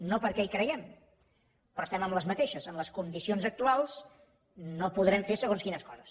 no perquè hi creguem però estem en les mateixes solucions en les condicions actuals no podrem fer segons quines coses